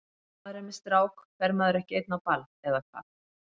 Ef maður er með strák fer maður ekki einn á ball, eða hvað?